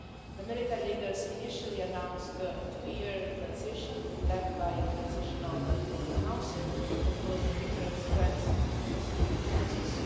The military leaders initially announced a two year transition to be led by a transitional military council, composed of different strands of the security forces.